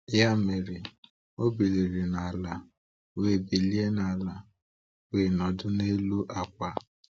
Ya mere, Ọ biliri n’ala wee biliri n’ala wee nọdụ n’elu akwa.